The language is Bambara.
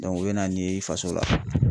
u bɛ na n'i ye i faso la